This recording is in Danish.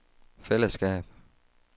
fællesskab